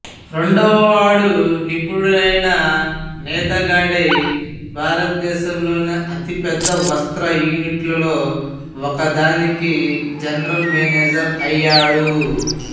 రెండవవాడు నిపుణుడైన నేతగాడై భారతదేశంలోని అతిపెద్ద వస్త్ర యూనిట్లలో ఒకదానికి జనరల్ మేనేజర్ అయ్యాడు